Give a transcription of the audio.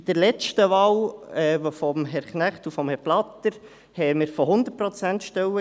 Bei der letzten Wahl von Herrn Knecht und Herrn Blatter sprachen wir von 100-ProzentStellen;